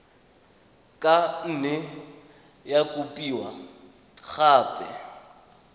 ka nne ya kopiwa gape